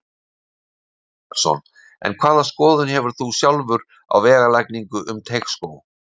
Kristján Már Unnarsson: En hvaða skoðun hefur þú sjálfur á vegalagningu um Teigsskóg?